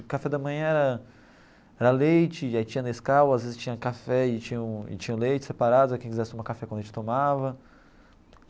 O café da manhã era leite, aí tinha nescau, às vezes tinha café e tinha um e tinha leite separado, quem quisesse tomar café com leite, tomava.